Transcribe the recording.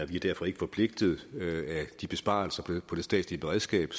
vi er derfor ikke forpligtet af de besparelser på det statslige beredskab